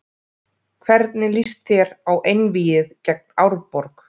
Hvernig lýst þér á einvígið gegn Árborg?